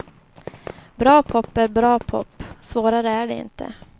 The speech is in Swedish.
Bra pop är bra pop, svårare är det inte.